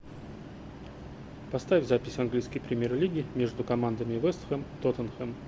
поставь запись английской премьер лиги между командами вест хэм тоттенхэм